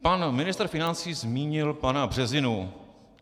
Pan ministr financí zmínil pana Březinu.